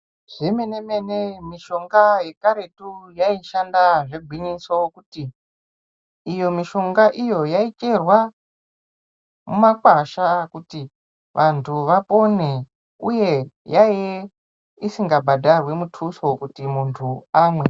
Zvemene-mene mishonga yekaretu yaishanda zvegwinyiso kuti iyo mishonga iyo yaicherwa mumakwasha kuti vantu vapone uye yaiye isingabhadharwi mutuso kuti muntu amwe.